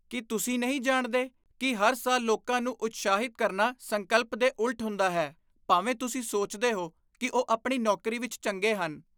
ਕੀ ਤੁਸੀਂ ਨਹੀਂ ਜਾਣਦੇ ਕਿ ਹਰ ਸਾਲ ਲੋਕਾਂ ਨੂੰ ਉਤਸ਼ਾਹਿਤ ਕਰਨਾ ਸੰਕਲਪ ਦੇ ਉਲਟ ਹੁੰਦਾ ਹੈ ਭਾਵੇਂ ਤੁਸੀਂ ਸੋਚਦੇ ਹੋ ਕਿ ਉਹ ਆਪਣੀ ਨੌਕਰੀ ਵਿੱਚ ਚੰਗੇ ਹਨ?